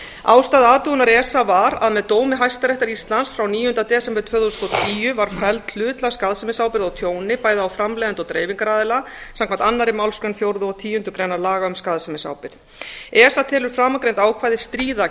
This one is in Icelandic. ástæða athugunar esa var að með dómi hæstaréttar íslands frá níunda desember tvö þúsund og tíu var felld hlutlæg skaðsemisábyrgð á tjóni bæði á framleiðanda og dreifingaraðila samkvæmt annarri málsgrein fjórðu og tíundu greinar laga um skaðsemisábyrgð esa telur framangreind ákvæði stríða